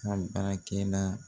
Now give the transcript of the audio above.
N ka baara kɛla